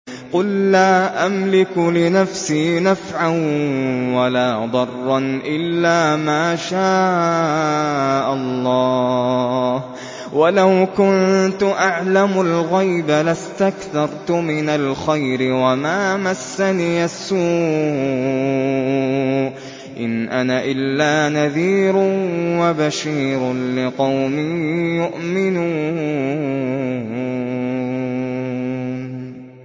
قُل لَّا أَمْلِكُ لِنَفْسِي نَفْعًا وَلَا ضَرًّا إِلَّا مَا شَاءَ اللَّهُ ۚ وَلَوْ كُنتُ أَعْلَمُ الْغَيْبَ لَاسْتَكْثَرْتُ مِنَ الْخَيْرِ وَمَا مَسَّنِيَ السُّوءُ ۚ إِنْ أَنَا إِلَّا نَذِيرٌ وَبَشِيرٌ لِّقَوْمٍ يُؤْمِنُونَ